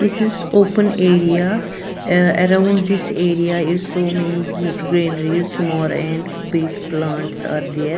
this is open area uh around this area is so many ge greeneries more and big plants are there.